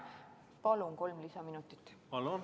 Palun kolm lisaminutit!